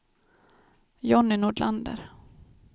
Johnny Nordlander